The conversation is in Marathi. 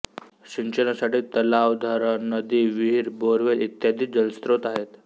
सिंचनासाठी तलाव धरण नदी विहीर बोअरवेल इ जलस्रोत आहेत